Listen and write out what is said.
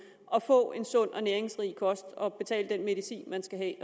at få en sund og næringsrig kost og betale den medicin man skal have